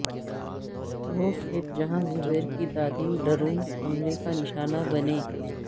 وہ کھیت جہاں زبیر کی دادی ڈرون حملے کا نشانہ بنیں